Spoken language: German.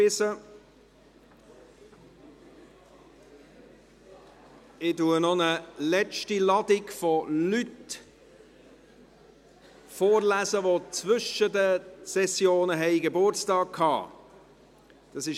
Ich lese noch eine letzte Ladung von Leuten vor, die zwischen den Sessionen Geburtstag gehabt haben.